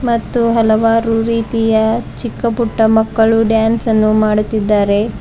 ಮತ್ತು ಹಲವಾರು ರೀತಿಯ ಚಿಕ್ಕ ಪುಟ್ಟ ಮಕ್ಕಳು ಡ್ಯಾನ್ಸ್ ಅನ್ನು ಮಾಡುತ್ತಿದ್ದಾರೆ.